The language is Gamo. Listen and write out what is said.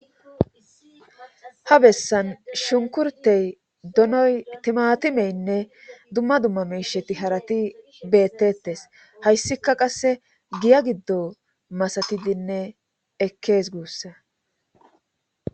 Ha bessan shunkurtey, donoy, timatimeynne, dumma dumma miisheti harati beettettes hayssika qasse giya giddo masatidinne ekkees guussa.